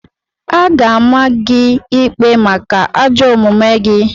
A ga-ama gị ikpe maka ajọ omume gị!